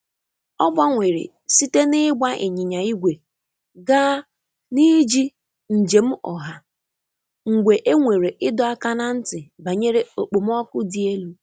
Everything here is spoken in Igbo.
O gbanwere site n’ịgba ịnyịnya igwe gaa n’iji njem ọha mgbe e nwere ịdọ aka ná ntị banyere okpomọkụ dị elu.